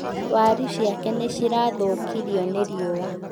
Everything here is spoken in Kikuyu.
Waaru ciake nĩ cirathũkirio nĩ rĩũwa